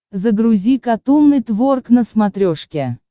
загрузи катун нетворк на смотрешке